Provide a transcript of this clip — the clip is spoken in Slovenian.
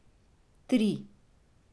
Tri.